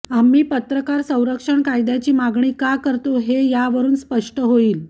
आम्ही पत्रकार संरक्षण कायद्याची मागणी का करतो हे यावरून स्पष्ट होईल